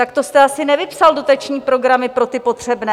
Tak to jste asi nevypsal dotační programy pro ty potřebné.